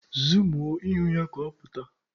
Zuumuo ihu ya ka ọ pụta!